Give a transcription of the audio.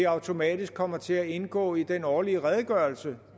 automatisk kommer til at indgå i den årlige redegørelse